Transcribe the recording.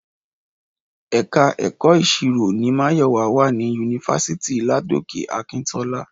Ẹ̀ka Èkó ìṣirò ni Máyọ̀wá wà ní yunifásítì Ladoke Akintola